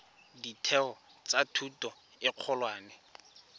ditheo tsa thuto e kgolwane